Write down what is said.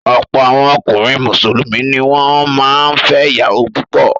Ọ̀pọ̀ àwọn ọkùnrin Mùsùlùmí ni wọ́n máa ń fẹ́ ìyàwó púpọ̀.